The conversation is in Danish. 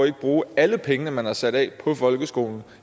ikke bruge alle pengene man har sat af på folkeskolen